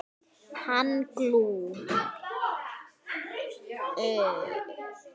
Hann Glúm.